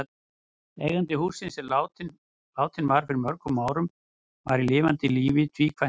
Eigandi hússins, sem látinn var fyrir mörgum árum, var í lifanda lífi tvíkvæntur.